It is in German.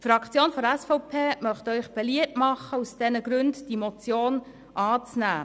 Die Fraktion der SVP möchte Ihnen beliebt machen, aus diesen Gründen die Motion anzunehmen.